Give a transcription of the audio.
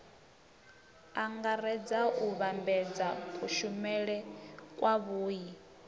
angaredza u vhambedza kushumele kwavhui